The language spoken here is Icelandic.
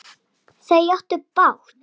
Þau áttu bágt!